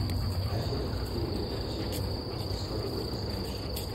афина какие активные формы кислорода ты знаешь